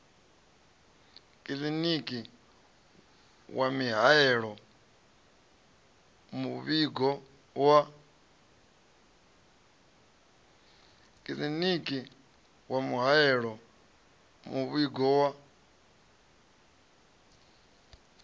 kiḽiniki wa mihaelo muvhigo wa